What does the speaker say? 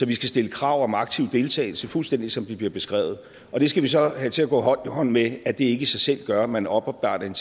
vi stille krav om aktiv deltagelse fuldstændig som det bliver beskrevet og det skal vi så have til at gå hånd i hånd med at det ikke i sig selv gør at man oparbejder en